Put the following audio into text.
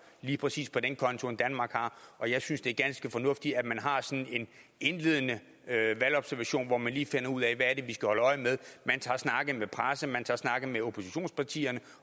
lige præcis på den konto end danmark har og jeg synes at det er ganske fornuftigt at man har sådan en indledende valgobservation hvor man lige finder ud af hvad det er vi skal holde øje med man tager snakke med pressen man tager snakke med oppositionspartierne